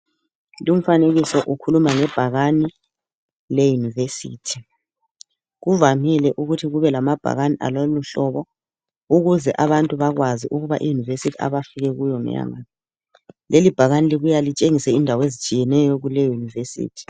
Lumfanekiso ukhuluma ngbhakani le univesithi kuqakathekile ukuthi kube lebhakani lwaloluhlobo ukuze abantu bakwazi ukuthi I yunivesithi abakuyo ngeyangaphi leli ibhakani libuya lintshengisa indawo ezitshiyeneyo kuleyo yunivesithi.